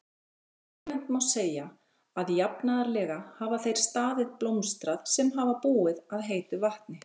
Almennt má segja að jafnaðarlega hafa þeir staðir blómstrað sem hafa búið að heitu vatni.